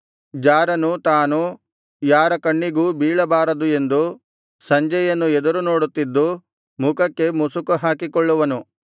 ಜಾರನು ತಾನು ಯಾರ ಕಣ್ಣಿಗೂ ಬೀಳಬಾರದು ಎಂದು ಸಂಜೆಯನ್ನು ಎದುರು ನೋಡುತ್ತಿದ್ದು ಮುಖಕ್ಕೆ ಮುಸುಕು ಹಾಕಿಕೊಳ್ಳುವನು